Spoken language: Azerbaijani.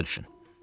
Başa düşün.